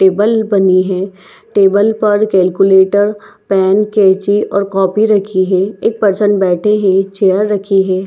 Table बनी है table पर कैलकुलेटर पेन केचि और कॉपी रखी है एक पर्सन बैठे है एक चेयर रखी है।